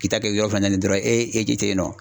K'i ta kɛ yɔrɔ fana dɔrɔn e tɛ ye nɔ.